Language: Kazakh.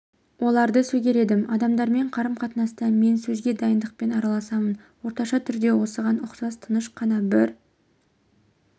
оларды сөгер едім адамдармен қарым-қатынаста мен сөзге дайындықпен араласамын орташа түрде осыған ұқсас тыныш қана бір